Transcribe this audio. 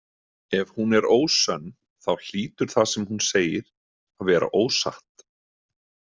Ef hún er ósönn þá hýtur það sem hún segir að vera ósatt.